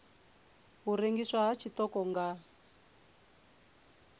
u rengiswa ha tshiṱoko nga